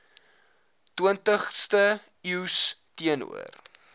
twintigste eeus teenoor